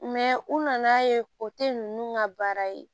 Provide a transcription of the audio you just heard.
u nana ye o tɛ ninnu ka baara ye